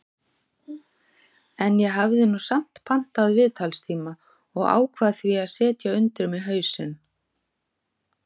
En ég hafði nú samt pantað viðtalstíma og ákvað því að setja undir mig hausinn.